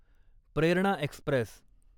Prerna Express